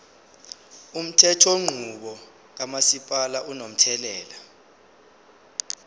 umthethonqubo kamasipala unomthelela